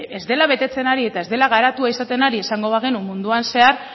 ez dela betetzen ari eta ez dela garatua izaten ari esango bagenu munduan zehar